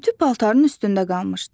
Ütü paltarın üstündə qalmışdı.